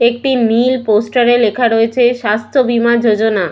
একটি নীল পোস্টার এ লেখা রয়েছে স্বাস্থ্য বীমা যোজনা।